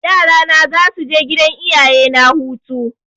Yara na za su je gidan iyayena hutu.